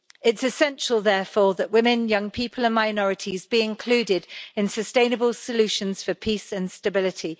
It's essential, therefore, that women, young people and minorities be included in sustainable solutions for peace and stability.